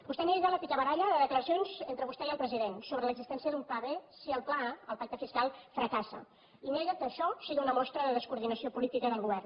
vostè nega la picabaralla de declaracions entre vostè i el president sobre l’existència d’un pla b si el pla a el pacte fiscal fracassa i nega que això sigui una mostra de descoordinació política del govern